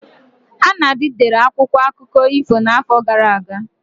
Anadi dere akwụkwọ akụkọ ifo n'afọ gara aga.